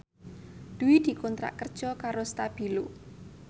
Dwi dikontrak kerja karo Stabilo